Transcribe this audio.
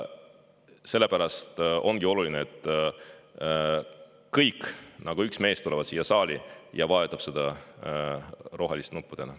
Sellepärast ongi oluline, et kõik nagu üks mees tulevad siia saali ja vajutavad rohelist nuppu.